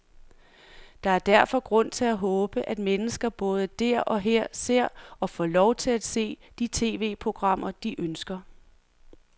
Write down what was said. Der er derfor grund til at håbe, at mennesker både der og her ser, og får lov til at se, de tv-programmer, de ønsker.